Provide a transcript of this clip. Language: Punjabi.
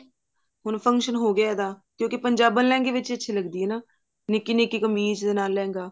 ਹੁਣ function ਹੋਗਿਆ ਇਹਦਾ ਕਿਉਂਕਿ ਪੰਜਾਬਣ ਲਹਿੰਗੇ ਵਿੱਚ ਅੱਛੀ ਲੱਗਦੀ ਹੈ ਨਿੱਕੀ ਨਿੱਕੀ ਕਮੀਜ਼ ਦੇ ਨਾਲ ਲਹਿੰਗਾ